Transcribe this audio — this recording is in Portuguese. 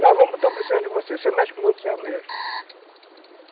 Nós vamos estamos precisando de você